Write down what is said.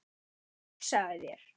Hugsaðu þér!